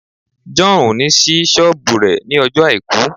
John will not open his shop on Sunday